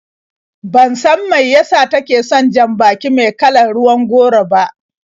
Ban san mai yasa take son jan-baki me kalar ruwan goro ba.